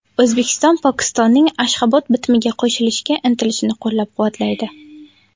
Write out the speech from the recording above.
O‘zbekiston Pokistonning Ashxobod bitimiga qo‘shilishga intilishini qo‘llab-quvvatlaydi.